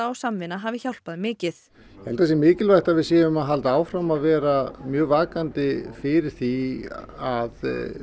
og samvinna hafi hjálpað mikið ég held að það sé mikilvægt að við séum að halda áfram að vera mjög vakandi fyrir því að